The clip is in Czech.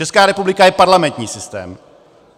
Česká republika je parlamentní systém.